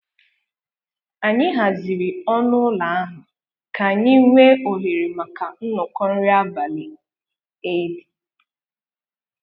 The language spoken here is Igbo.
Anyị haziri ọnụ ụlọ ahụ ka anyị nwee ohere maka nnọkọ nri abalị Eid